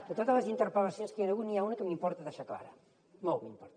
de totes les interpel·lacions que hi han hagut n’hi ha una que m’importa deixar clara molt m’importa